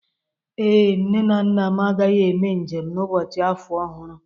Ee, nne na nna m agaghị eme njem n'ụbọchị afọ ọhụrụ.